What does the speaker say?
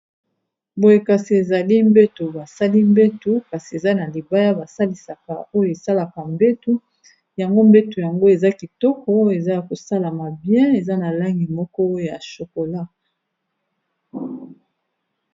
Boye kasi ezali mbeto basali mbeto kasi eza na libaya basalisaka oyo esalaka mbeto yango mbeto yango eza kitoko eza ya kosalama bien eza na langi moko ya chokola.